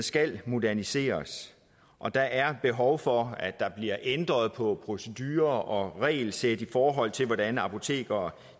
skal moderniseres og der er behov for at der bliver ændret på procedurer og regelsæt i forhold til hvordan apotekere